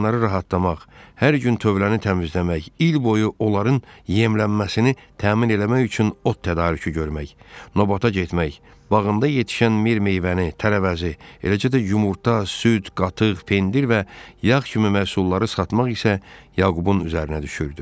Heyvanları rahatlamaq, hər gün tövləni təmizləmək, il boyu onların yemlənməsini təmin eləmək üçün ot tədarükü görmək, növbətə getmək, bağında yetişən mir meyvəni, tərəvəzi, eləcə də yumurta, süd, qatıq, pendir və yağ kimi məhsulları satmaq isə Yaqubun üzərinə düşürdü.